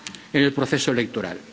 más, en el proceso electoral.